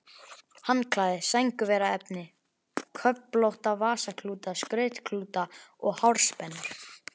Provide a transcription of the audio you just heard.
Handklæði, sængurveraefni, köflótta vasaklúta, skrautklúta og hárspennur.